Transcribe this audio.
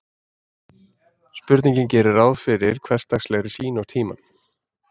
Spurningin gerir ráð fyrir hversdagslegri sýn á tímann.